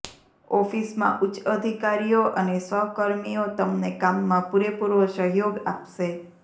ઑફિસમાં ઉચ્ચ અધિકારીઓ અને સહકર્મીઓ તમને કામમાં પૂરેપૂરો સહયોગ આપશે